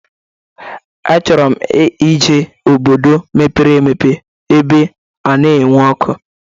Achọrọ m ije obodo mepere emepe ebe anaghị ewe ọkụ.